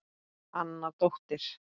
Anna dóttir